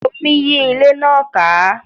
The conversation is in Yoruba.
Omi yí ilé náà ká